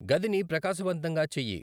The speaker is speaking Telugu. గదిని ప్రకాశవంతంగా చెయ్యి